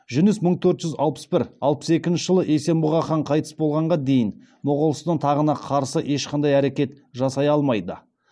жүніс мың төрт жүз алпыс бір алпыс екінші жылы есенбұға хан қайтыс болғанға дейін моғолстан тағына қарсы ешқандай әрекет жасай алмайды